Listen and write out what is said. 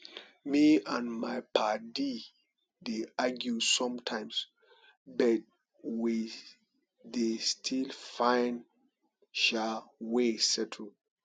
me and my paddy dey argue sometimes but we dey still find um way settle